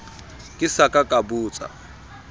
ke sa ka ka botsa